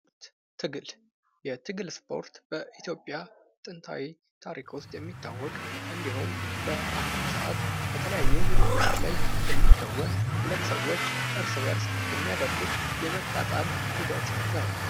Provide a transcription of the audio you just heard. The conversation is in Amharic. ትግል የትግል ስፖርት በኢትዮጵያ ጥንታዊ ታሪክ ዉስጥ የሚታወቅ እንዲሁም በአሁን ሰዓት በተለያዩ ዉድድሮች ላይ የሚከወን ሁለት ሰዎች እርስ በርስ የሚያደርጉት የመጣጣል ሂደት ነው::